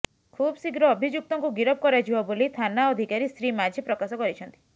ଖୁବଶୀଘ୍ର ଅଭିଯକ୍ତଙ୍କୁ ଗିରଫ କରାଯିବ ବୋଲି ଥାନା ଅଧିକାରୀ ଶ୍ରୀ ମାଝୀ ପ୍ରକାଶ କରିଛନ୍ତି